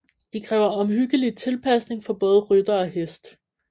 De kræver omhyggelig tilpasning for både rytter og hest